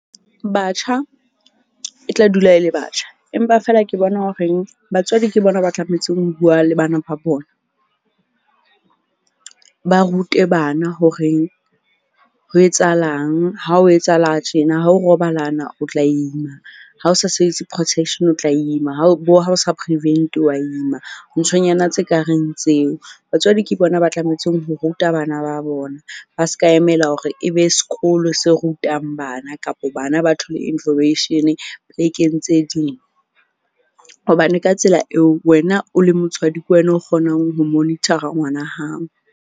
Batjha e tla dula e le batjha, empa feela ke bona horeng batswadi ke bona ba tlametse ho bua le bana ba bona. Ba rute bana horeng ho etsahalang ha o etsahala tjena ha o robalana, o tla ima. Ha o sa sebedise protection, o tla ima ha o bo ha o sa prevent-e wa ima. Nthonyana tse kareng tseo. Batswadi ke bona ba tlametseng ho ruta bana ba bona ba ska emela hore e be sekolo se rutang bana kapa bana ba thole information-e plek-eng tse ding. Hobane ka tsela eo wena o le motswadi, ke wena o kgonang ho monitor-a ngwana hao.